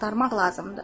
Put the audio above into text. Axtarmaq lazımdır.